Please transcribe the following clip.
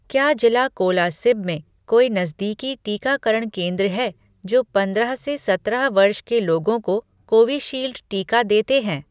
क्या जिला कोलासिब में कोई नज़दीकी टीकाकरण केंद्र हैं जो पंद्रह से सत्रह वर्ष के लोगों को कोविशील्ड टीका देते हैं?